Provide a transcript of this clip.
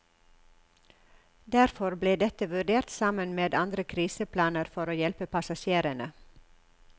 Derfor ble dette vurdert sammen med andre kriseplaner for å hjelpe passasjerene.